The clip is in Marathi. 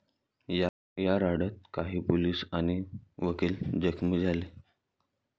या राड्यात काही पोलीस आणि वकील जखमी झाले.